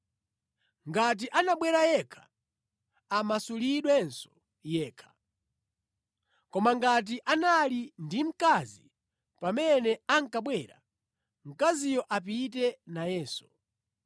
Ngati anabwera yekha, amasulidwenso yekha. Koma ngati anali ndi mkazi pamene ankabwera, mkaziyo apite nayenso.